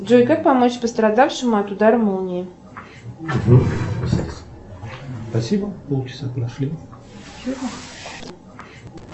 джой как помочь пострадавшему от удара молнии